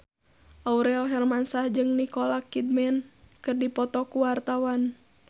Aurel Hermansyah jeung Nicole Kidman keur dipoto ku wartawan